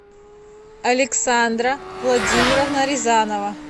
александра владимировна рязанова